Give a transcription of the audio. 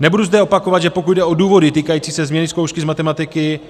Nebudu zde opakovat, že pokud jde o důvody týkající se změny zkoušky z matematiky,